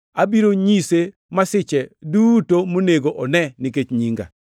Abiro nyise masiche duto monego one nikech nyinga.”